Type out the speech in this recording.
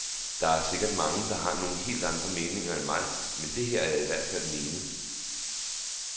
Der er sikkert mange der har nogle helt andre meninger end mig, men det her er i hvert fald mine.